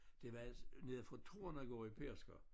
Det var nede fra Tornegård i Pedersker